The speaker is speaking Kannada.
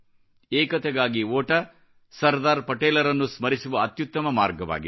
ಏಕತೆಗಾಗಿ ಓಟವು ಸರ್ದಾರ್ ಪಟೇಲರನ್ನು ಸ್ಮರಿಸುವ ಅತ್ಯುತ್ತಮ ಮಾರ್ಗವಾಗಿದೆ